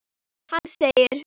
Hann segir